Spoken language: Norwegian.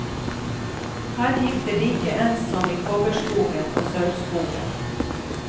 Her gikk det like ens som i kobberskogen og sølvskogen.